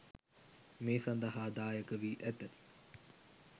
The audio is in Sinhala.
මේ සදහා දායක වී ඇත.